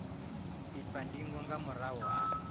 itwa ndingo nga murahu ha